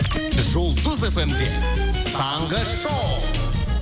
жұлдыз фм де таңғы шоу